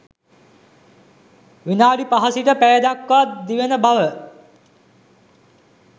විනාඩි 5 සිට පැය දක්වා දිවෙන බව